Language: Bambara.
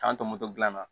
K'an to moto gilan na